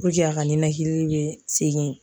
a ka ninakili bɛ segin